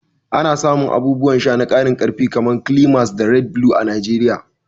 Ana samun abubuwan sha na karin karfi kamar Climax da Red Blue a Najeriya.